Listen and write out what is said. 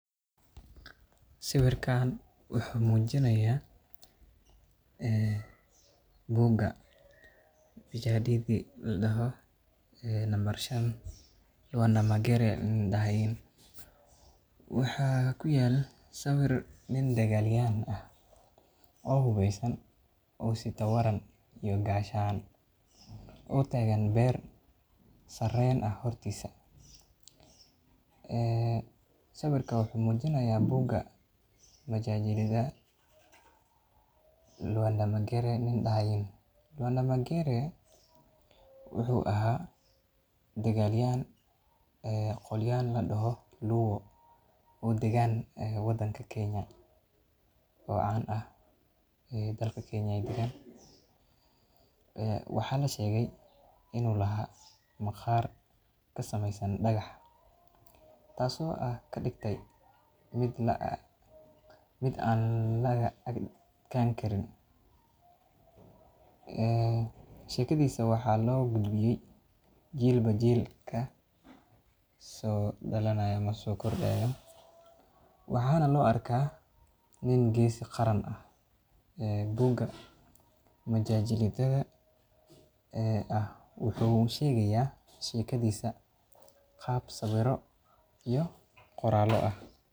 Sawiirkaan wuxuu mujinaaya buuga ladahayo nambar shan magare nin ladoho, waxaa ku yaala sawiir nin dagaal yahan ah oo hubeesan oo sito waran iyo gaashan oo tagan beer sareen ah hortiisa, sawiirka wuxuu mujinaaya buuga majajalaha, magere wuxuu ahaa dagaal yahan qolyaha ladoho luo oo dagaan wadanka kenya oo caan ah, waxaa lasheege inuu maqaar ka sameysan dagax taas oo ah kadigte mid aan laga adkaan Karin, shekadiisa waxaa loo gudbiye jiilba jiilka soo kordaayo, waxaana loo arka nin geesi qaran ah, buuga majalida wuxuu sheegaya shekadiisa qaab sawiiro iyo qoraalo ah.